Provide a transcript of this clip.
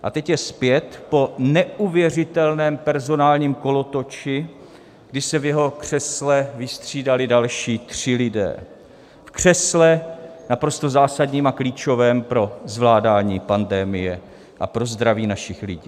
A teď je zpět po neuvěřitelném personálním kolotoči, kdy se v jeho křesle vystřídali další tři lidé, v křesle naprosto zásadním a klíčovém pro zvládání pandemie a pro zdraví našich lidí.